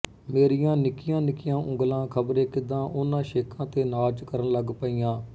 ਮੇਰੀਆਂ ਨਿੱਕੀਆਂ ਨਿੱਕੀਆਂ ਉਂਗਲਾਂ ਖ਼ਬਰੇ ਕਿਦਾਂ ਉਨ੍ਹਾਂ ਛੇਕਾਂ ਤੇ ਨਾਚ ਕਰਨ ਲੱਗ ਪਈਆਂ